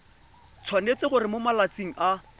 tshwanetse gore mo malatsing a